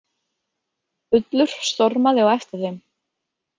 Ullur stormaði á eftir þeim.